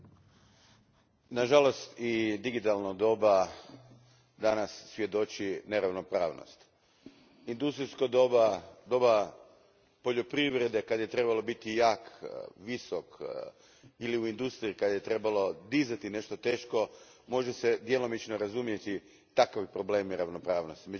Gospodine predsjedniče, nažalost i digitalno doba danas svjedoči neravnopravnosti. Industrijsko doba, doba poljoprivrede kada je trebalo biti jak, visok ili u industriji kada je trebalo dizati nešto teško, može se djelomično razumjeti takve probleme ravnopravnosti.